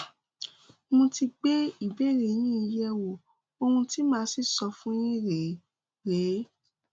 mo ti gbé ìbéèrè yín yẹwò ohun tí màá sì sọ fún yín rèé rèé